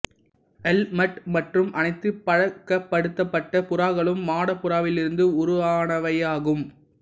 helmet மற்றும் அனைத்து பழக்கப்படுத்தப்பட்ட புறாக்களும் மாடப் புறாவிலிருந்து உருவானவையாகும்